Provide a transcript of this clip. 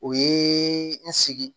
O ye n sigi